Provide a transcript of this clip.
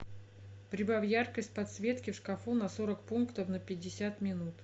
прибавь яркость подсветки в шкафу на сорок пунктов на пятьдесят минут